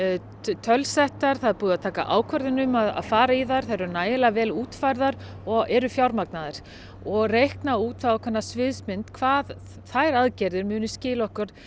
tölusettar það er búið að taka ákvörðun um að fara í þær þær eru nægilega vel útfærðar og þær eru fjármagnaðar og reikna út þá ákveðna sviðsmynd hvað þær aðgerðir munu skila okkur